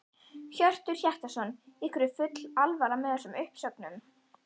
Hjörtur Hjartarson: Ykkur er full alvara með þessum uppsögnum?